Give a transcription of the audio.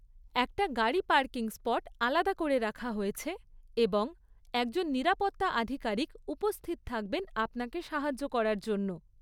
একটা গাড়ি parking spot আলাদা করে রাখা হয়েছে, এবং একজন নিরাপত্তা আধিকারিক উপস্থিত থাকবেন আপনাকে সাহায্য করার জন্য।